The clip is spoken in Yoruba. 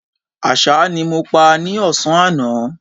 Àṣá ni mo pa ní ọ̀sán àná